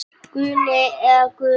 Guðni eða Guðný.